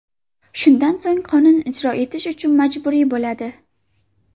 Shundan so‘ng qonun ijro etish uchun majburiy bo‘ladi.